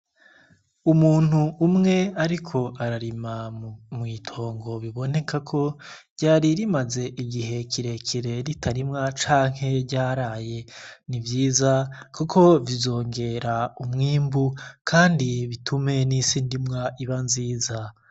Umuntu umwe, ariko ararima mwitongo bibonekako ryari rimaze igihe kirekire ritarimwa canke ryaraye ni vyiza, kuko bizongera umwimbu, kandi bitume n'isi ndimwa iba nziza.